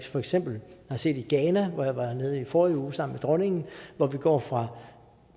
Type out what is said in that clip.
for eksempel har set i ghana hvor jeg var nede i forrige uge sammen med dronningen hvor vi går fra